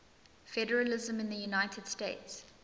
federalism in the united states